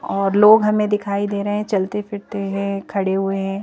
और लोग हमें दिखाई दे रहे हैं चलते फिरते हैं खड़े हुए हैं।